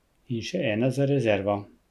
In še ena za rezervo!